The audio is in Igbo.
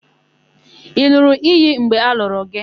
Ị n̄ụrụ iyi mgbe a lụrụ gị?